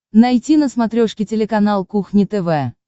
найти на смотрешке телеканал кухня тв